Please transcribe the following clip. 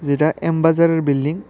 এটা এম বাজার -এর বিল্ডিং ।